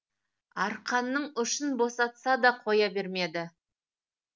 арқанның ұшын босатса да қоя бермеді